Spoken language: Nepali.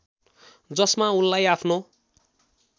जसमा उनलाई आफ्नो